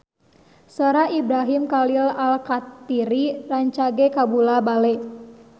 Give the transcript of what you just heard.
Sora Ibrahim Khalil Alkatiri rancage kabula-bale